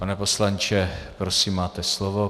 Pane poslanče, prosím, máte slovo.